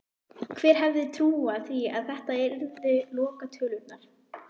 Hver hefði trúað því að þetta yrðu lokatölurnar??